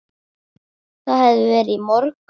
Það hafði verið í morgun.